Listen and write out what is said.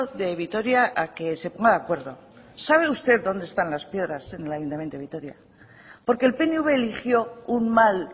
de vitoria a que se ponga de acuerdo sabe usted dónde están las piedras en el ayuntamiento de vitoria porque el pnv eligió un mal